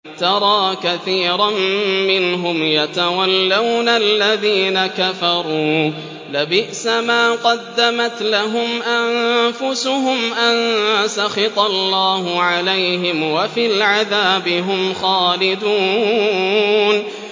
تَرَىٰ كَثِيرًا مِّنْهُمْ يَتَوَلَّوْنَ الَّذِينَ كَفَرُوا ۚ لَبِئْسَ مَا قَدَّمَتْ لَهُمْ أَنفُسُهُمْ أَن سَخِطَ اللَّهُ عَلَيْهِمْ وَفِي الْعَذَابِ هُمْ خَالِدُونَ